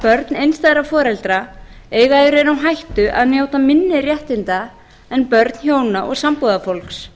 börn einstæðra foreldra eiga í raun á hættu að njóta minni réttinda en börn hjóna og sambúðarfólks